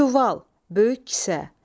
Çuval, böyük kisə.